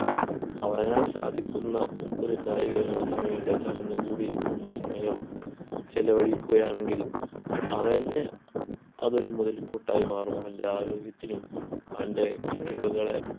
അവനാൽ സാധിക്കുന്ന ഒരു കായിക വിനോദത്തിന് വേണ്ടി ആ ചടഞ്ഞ് കൂടി ഇരിക്കുന്ന സമയം ചിലവഴിക്കുകയാണെങ്കിൽ അവന് അതൊരു മുതൽക്കൂട്ടായി മാറും അവൻ്റെ ആരോഗ്യത്തിനും അവൻ്റെ കഴിവുകളെ